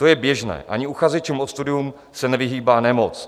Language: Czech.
To je běžné, ani uchazečům o studium se nevyhýbá nemoc.